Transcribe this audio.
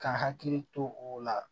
Ka n hakili to o la